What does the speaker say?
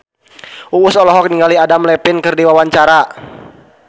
Uus olohok ningali Adam Levine keur diwawancara